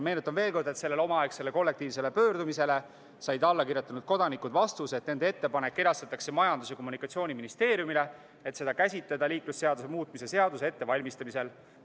Meenutan veel kord, et sellele omaaegsele kollektiivsele pöördumisele said alla kirjutanud kodanikud vastuse, et nende ettepanek edastatakse Majandus- ja Kommunikatsiooniministeeriumile, et seda käsitleda liiklusseaduse muutmise seaduse ettevalmistamisel.